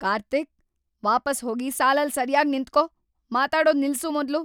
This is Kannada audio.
ಕಾರ್ತೀಕ್! ವಾಪಸ್‌ ಹೋಗಿ ಸಾಲಲ್ಲಿ ಸರ್ಯಾಗ್‌ ನಿಂತ್ಕೋ, ಮಾತಾಡೋದ್‌ ನಿಲ್ಸು ಮೊದ್ಲು.